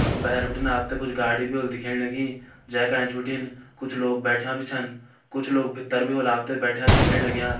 भैर भिटिन आप्थे कुछ गाडी भी हुली दिख्येण लगीं जेका ऐंच भिटिन कुछ लोग बैठ्याँ भी छन कुछ लोग भित्तर होला आप्थे बैठ्याँ दिख्येण लाग्यां।